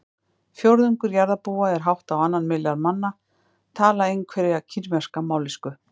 Fjórðungur jarðarbúa eða hátt á annan milljarð manna tala einhverja kínverska mállýsku.